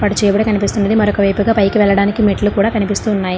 చేయబడి కనిపిస్తుంది మరొకవైపుగా బైక్ వెళ్లడానికి మెట్లు కూడా కనిపిస్తున్నాయి.